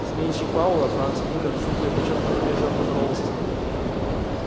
сменщик пауэлла франц мюллер сухо и подчёркнуто вежливо поздоровался с ними